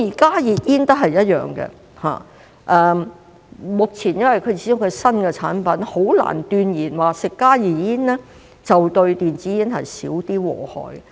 加熱煙亦一樣，因為它始終是新產品，目前很難斷言吸食加熱煙相對電子煙會少一點禍害。